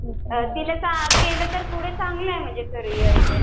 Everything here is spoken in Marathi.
तिनं पुढं केलं तर चांगलं आहे पुढं करियर